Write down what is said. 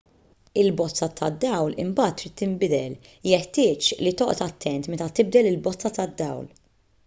il-bozza tad-dawl imbagħad trid tinbidel jeħtieġ li toqgħod attent meta tibdel il-bozza tad-dawl